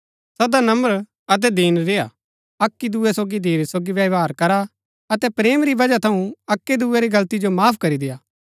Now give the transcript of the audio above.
सदा नम्र अतै दीन रेय्आ अक्की दूये सोगी धीरज सोगी व्यवहार करा अतै प्रेम री वजह थऊँ अक्की दूये री गलती जो माफ करी देय्आ